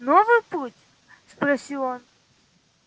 новый путь спросил он